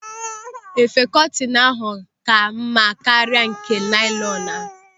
Efe kọtinu ahụ ka mma karịa nke nailọnu.